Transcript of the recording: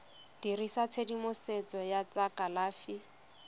dirisa tshedimosetso ya tsa kalafi